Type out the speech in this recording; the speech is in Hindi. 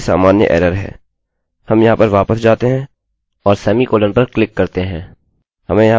हम यहाँ पर वापस जाते हैं और अर्धविरामsemicolon पर क्लिक करते हैं हमें यहाँ पर एक parse error expecting a semicolon मिली है